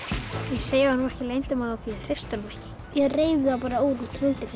ég segi honum ekki leyndarmál af því ég treysti honum ekki ég reif það bara úr hreindýrinu